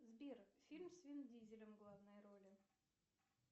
сбер фильм с вин дизелем в главной роли